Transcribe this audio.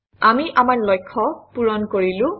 আমি আমাৰ লক্ষ্য পূৰণ কৰিলো